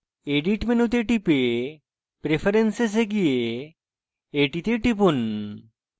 edit মেনুতে টিপে preferences এ go এটিতে টিপুন